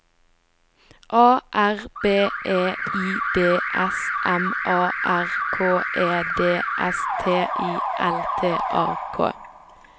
A R B E I D S M A R K E D S T I L T A K